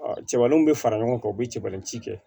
cɛbaraniw bɛ fara ɲɔgɔn kan u bɛ cɛbalinkɛ